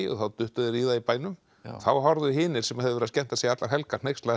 þá duttu þeir í það í bænum þá horfðu hinir sem höfðu verið að skemmta sér allar helgar hneykslaðir